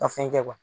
Ka fɛn kɛ